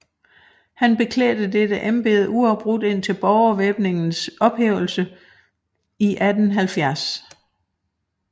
Han beklædte dette embede uafbrudt indtil Borgervæbningens ophævelse 1870